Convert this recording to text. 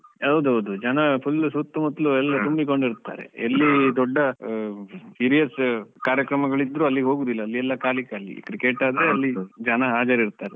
ಹೌದು ಹೌದು ಜನ full ಸುತ್ತ್ಮುತ್ತಲು ಎಲ್ಲ ತುಂಬಿಕೊಂಡು ಇರುತ್ತಾರೆ, ಎಲ್ಲಿ ದೊಡ್ಡ ಆಹ್ serious ಕಾರ್ಯಕ್ರಮಗಳಿದ್ರು ಅಲ್ಲಿ ಹೋಗುದಿಲ್ಲ, ಅಲ್ಲಿ ಎಲ್ಲ ಖಾಲಿ ಖಾಲಿಯೇ, cricket ಆದ್ರೆ ಅಲ್ಲಿ ಜನ ಹಾಜರಿರುತ್ತಾರೆ.